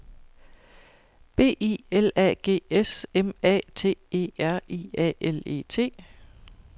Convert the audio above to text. B I L A G S M A T E R I A L E T